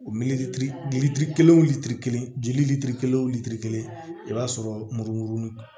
O litiri kelen o litiri kelen jili litiri kelen o litiri kelen i b'a sɔrɔ murumurumugu